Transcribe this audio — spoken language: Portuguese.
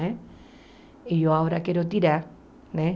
Né e eu agora quero tirar. Né